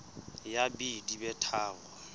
ya b di be tharo